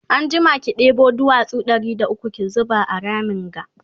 anjima ki ɗebo duwatsu Ɗari da ukwu ki zuba a Ramin ga